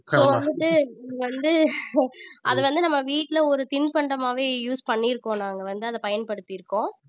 so வந்துட்டு இது வந்து அது வந்து நம்ம வீட்டுல ஒரு தின்பண்டமாவே use பண்ணி இருக்கோம் நாங்க வந்து அதை பயன்படுத்தி இருக்கோம்